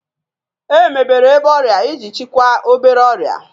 Emebere ebe ọrịa iji chịkwaa obere ọrịa